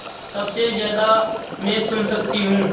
सबसे ज़्यादा मैं सुन सकती हूँ